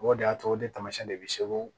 O de y'a to o de taamasiyɛn de bɛ segu